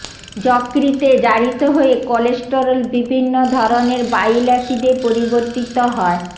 যকৃতে জারিত হয়ে কলেস্টেরল বিভিন্ন ধরেনের বাইল আসিডে পরিবর্তিত হয়